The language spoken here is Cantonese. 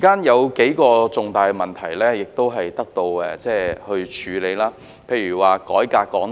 有數個重大問題亦已獲得處理，例如改革香港電台。